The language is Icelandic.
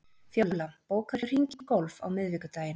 Fjóla, bókaðu hring í golf á miðvikudaginn.